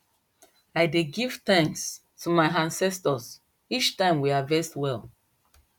i dey give thanks to my ancestors each time we harvest well